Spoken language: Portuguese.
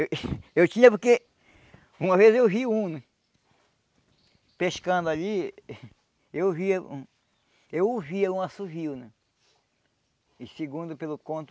eu eu tinha porque uma vez eu vi um pescando ali eu via um eu ouvia um assovio e segundo pelo conto